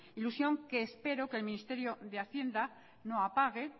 ilusión que espero que el ministerio de hacienda no apague